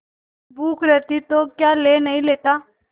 भूख रहती तो क्या ले नहीं लेता